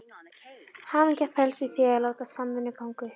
Hamingjan felst í því að láta samvinnuna ganga upp.